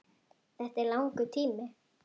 Þetta er langur tími.